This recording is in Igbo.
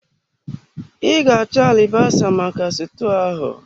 I ga achọ alibasa maka stuu ahụ.